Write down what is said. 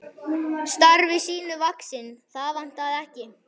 Starfi sínu vaxinn, það vantaði ekki.